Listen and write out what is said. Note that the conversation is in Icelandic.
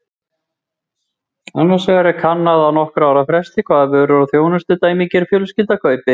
Annars vegar er kannað á nokkurra ára fresti hvaða vörur og þjónustu dæmigerð fjölskylda kaupir.